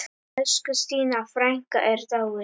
Elsku Stína frænka er dáin.